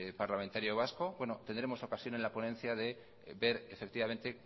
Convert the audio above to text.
parlamentario vasco bueno tendremos ocasión en la ponencia de ver efectivamente